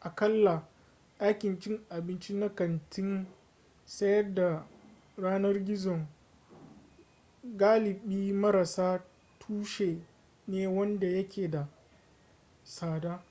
aƙalla ɗakin cin abinci na kantin sayar da yanar gizon galibi marassa tushe ne wanda yake da tsada